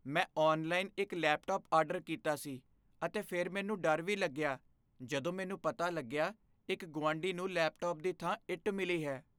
ਮੈਂ ਔਨਲਾਈਨ ਇੱਕ laptop order ਕੀਤਾ ਸੀ ਅਤੇ ਫਿਰ ਮੈਨੂੰ ਡਰ ਵੀ ਲੱਗਿਆ ਜਦੋਂ ਮੈਨੂੰ ਪਤਾ ਲੱਗਿਆ ਇੱਕ ਗੁਆਂਢੀ ਨੂੰ ਲੈਪਟਾਪ ਦੀ ਥਾਂ ਇੱਟ ਮਿਲੀ ਹੈ।